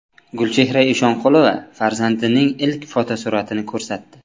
Gulchehra Eshonqulova farzandining ilk fotosuratini ko‘rsatdi.